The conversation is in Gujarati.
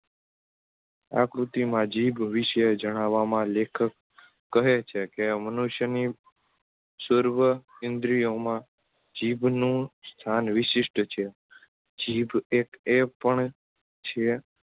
આ કૃતિમાં જીભ વિષે જણાવવામાં લેખક કહે છેકે મનુષ્ય ની સર્વ ઇન્દ્રિયોમાં જીભનું સ્થાન વિશિષ્ટ છે જીભ એક એપણ છે